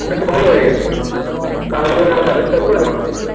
ভালো হয়েগেছে তারপরে সে বেবস্তা করে লাভ নেই